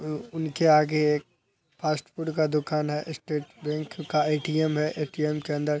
उ उनके आगे एक फ़ास्ट फ़ूड का दुकान है। स्टेट बैंक का ए.टी.एम. है। ए.टी.एम. के अंदर --